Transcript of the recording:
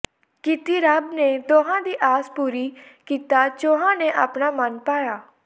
ਕੀਤੀ ਰੱਬ ਨੇ ਦੋਹਾਂ ਦੀ ਆਸ ਪੂਰੀ ਕੀਤਾ ਚੌਹਾਂ ਨੇ ਅਪਣਾ ਮਨ ਭਾਇਆ